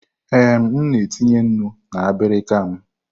Ee, m na etinye nnu na abirika m.